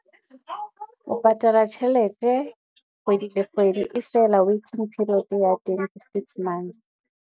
O patala tjhelete, kgwedi le kgwedi e fela waiting period ya teng ke six months.